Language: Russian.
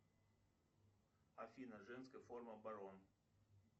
афина женская форма барон